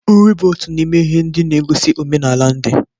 Nri bụ otu n'ime ihe ndị na-egosi omenala ndị.